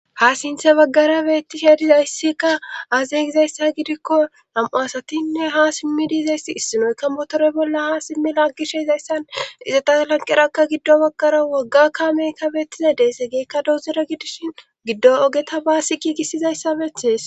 ha sinthe baggara beetti shedizayssikka aze gizayssa gidikko nam7o asatinne ha simmi diizayss issinoykka motore bolla ha simmi laaggishe izayssan izata lanqerakka giddo baggara wagga kaamey kabetiza deesegikka douzura gidishin giddo ogeta baassi giigisizayssabethees